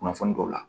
Kunnafoni dɔw la